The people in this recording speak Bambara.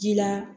Ji la